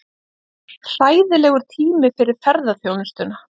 Hauskúpa þorsks.